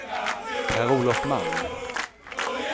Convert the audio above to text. Per-Olof Malm